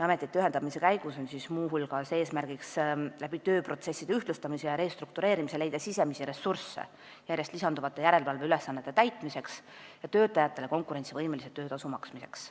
Ametite ühendamise käigus on muu hulgas eesmärk tööprotsesside ühtlustamise ja restruktureerimise abil leida sisemisi ressursse järjest lisanduvate järelevalveülesannete täitmiseks ja töötajatele konkurentsivõimelise töötasu maksmiseks.